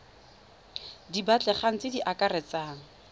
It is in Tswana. di batlegang tse di akaretsang